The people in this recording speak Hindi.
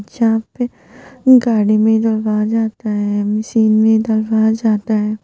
जहां पे गाड़ी में आता है मशीन में आता है।